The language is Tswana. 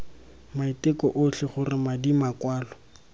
maiteko otlhe gore madi makwalo